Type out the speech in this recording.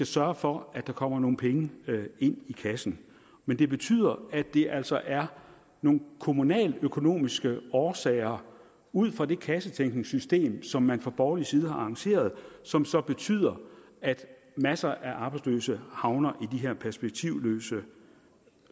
sørge for at der kommer nogle penge ind i kassen men det betyder at det altså er nogle kommunaløkonomiske årsager ud fra det kassetænkningssystem som man fra borgerlig side har arrangeret som så betyder at masser af arbejdsløse havner i de her perspektivløse